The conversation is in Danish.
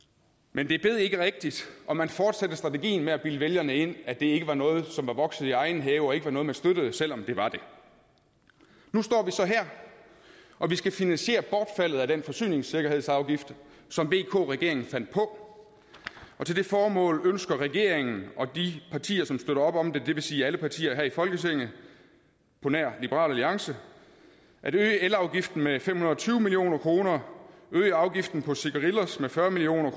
men det bed ikke rigtigt og man fortsatte strategien med at bilde vælgerne ind at det ikke var noget som var vokset i egen have og ikke var noget man støttede selv om det var det nu står vi så her og vi skal finansiere bortfaldet af den forsyningssikkerhedsafgift som vk regeringen fandt på og til det formål ønsker regeringen og de partier som støtter op om det det vil sige alle partier her i folketinget på nær liberal alliance at øge elafgiften med fem hundrede og tyve million kr øge afgiften på cigarillos med fyrre million